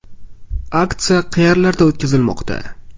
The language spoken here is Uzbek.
Aksiya qayerlarda o‘tkazilmoqda?